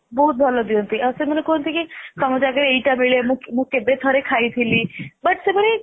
ବହୁତ ଭଲ ଦିଅନ୍ତି ଆଉ ସେମାନେ କୁହନ୍ତି କି ତମ ଜାଗାରେ ଏଇଟା ମିଳେ ମୁଁ କେବେ ଥରେ ଖାଇଥିଲି but ସେମାନେ